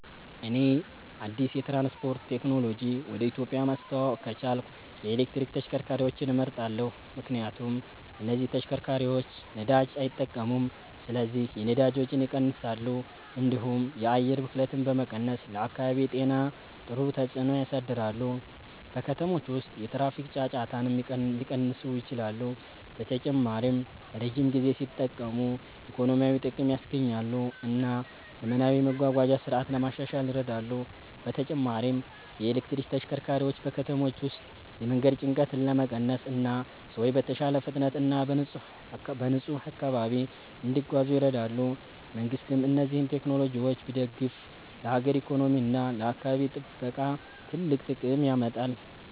እኔ አዲስ የትራንስፖርት ቴክኖሎጂ ወደ ኢትዮጵያ ማስተዋወቅ ከቻልኩ የኤሌክትሪክ ተሽከርካሪዎችን እመርጣለሁ። ምክንያቱም እነዚህ ተሽከርካሪዎች ነዳጅ አይጠቀሙም ስለዚህ የነዳጅ ወጪን ይቀንሳሉ፣ እንዲሁም የአየር ብክለትን በመቀነስ ለአካባቢ ጤና ጥሩ ተጽዕኖ ያሳድራሉ። በከተሞች ውስጥ የትራፊክ ጫጫታንም ሊቀንሱ ይችላሉ። በተጨማሪም ረጅም ጊዜ ሲጠቀሙ ኢኮኖሚያዊ ጥቅም ያስገኛሉ እና ዘመናዊ የመጓጓዣ ስርዓት ለማሻሻል ይረዳሉ። በተጨማሪም የኤሌክትሪክ ተሽከርካሪዎች በከተሞች ውስጥ የመንገድ ጭንቀትን ለመቀነስ እና ሰዎች በተሻለ ፍጥነት እና በንጹህ አካባቢ እንዲጓዙ ይረዳሉ። መንግሥትም እነዚህን ቴክኖሎጂዎች ቢደግፍ ለሀገር ኢኮኖሚ እና ለአካባቢ ጥበቃ ትልቅ ጥቅም ያመጣል።